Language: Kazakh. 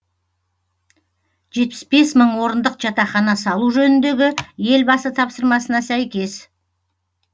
жетпіс бес мың орындық жатақхана салу жөніндегі елбасы тапсырмасына сәйкес